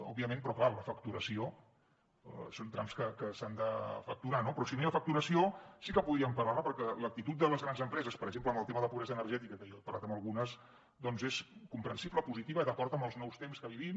òbviament però clar la facturació són trams que s’han de facturar però si no hi ha facturació sí que podríem parlar ne perquè l’actitud de les grans empreses per exemple amb el tema de la pobresa energètica que jo he parlat amb algunes doncs és comprensible positiva d’acord amb els nous temps que vivim